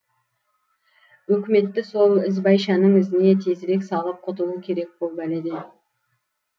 өкіметті сол ізбайшаның ізіне тезірек салып құтылу керек бұл бәледен